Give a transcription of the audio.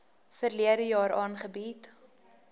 verlede jaar aangebied